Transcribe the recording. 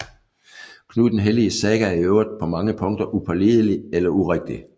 Knud den Helliges saga er i øvrigt på mange punkter upålidelig eller urigtig